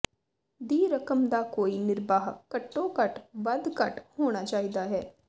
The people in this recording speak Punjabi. ਦੀ ਰਕਮ ਦਾ ਕੋਈ ਨਿਰਬਾਹ ਘੱਟੋ ਘੱਟ ਵੱਧ ਘੱਟ ਹੋਣਾ ਚਾਹੀਦਾ ਹੈ